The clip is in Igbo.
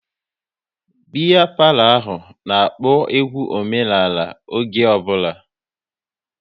Biya palo ahụ n'akpo egwu omenala oge ọ bụla